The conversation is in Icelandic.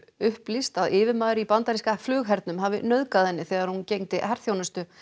upplýst að yfirmaður í bandaríska flughernum hafi nauðgað henni þegar hún gegndi herþjónustu